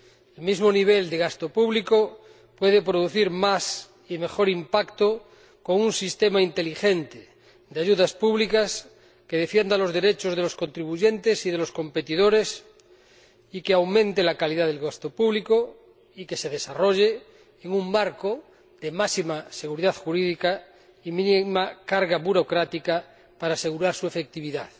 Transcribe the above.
El mismo nivel de gasto público puede producir más y mejor impacto con un sistema inteligente de ayudas públicas que defienda los derechos de los contribuyentes y de los competidores, que aumente la calidad del gasto público y que se desarrolle en un marco de máxima seguridad jurídica y mínima carga burocrática para asegurar su efectividad.